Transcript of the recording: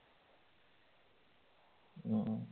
ഉം